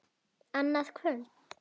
Annað kvöld!